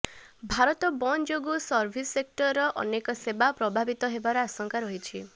ଭାରତ ବନ୍ଦ ଯୋଗୁଁ ସର୍ଭିସ ସେକ୍ଟରର ଅନେକ ସେବା ପ୍ରଭବିତ ହେବାର ଆଶଙ୍କା ରହିଛି